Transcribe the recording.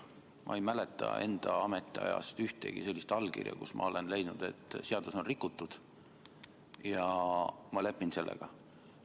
Ma ei mäleta enda ametiajast ühtegi sellist allkirja, kus ma olen leidnud, et seadust on rikutud, ja ma lepin sellega.